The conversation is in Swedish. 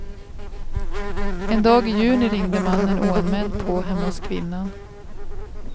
En dag i juni ringde mannen oanmäld på hemma hos kvinnan.